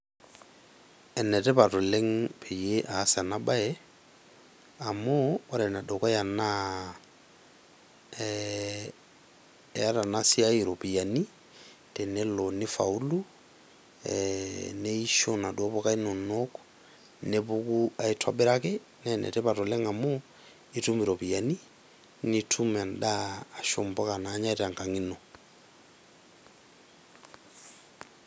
Enetipat oleng' peyie aas ena bae amu ore ene dukuya naa eeta ena siai irupuani tenelo nifaulu, neisho inaduo poka inono nepuku aitobiraki naa enetipat oleng' amu itum irupiani nitum endaa nanyai te nkang' ino.